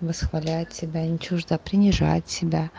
восхвалять тебя не чуждо принижать себя